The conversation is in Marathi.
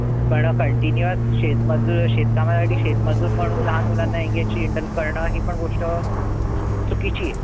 पण continious शेतमजूर शेतकामासाठी शेतमजुर म्हणून लहान मुलांना करणं हि पण गोष्ट चुकीचीये.